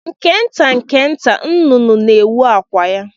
Nke nta nke nta, nnụnụ na-ewu akwụ ya.